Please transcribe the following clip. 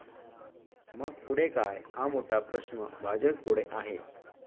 मग पुढे काय, हा मोठा प्रश्न भाजपपुढं आहे.